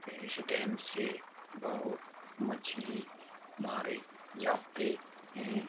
ये इस डैम से बहुत मछली मारे जाते हैं।